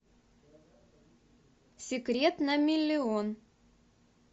секрет на миллион